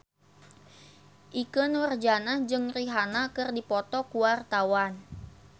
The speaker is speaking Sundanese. Ikke Nurjanah jeung Rihanna keur dipoto ku wartawan